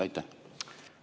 Aitäh!